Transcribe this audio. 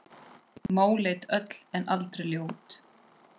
Móleit öll en aldrei ljót.